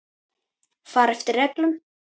Fara eftir reglum.